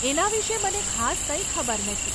એના વિશે મને ખાસ કંઈ ખબર નથી.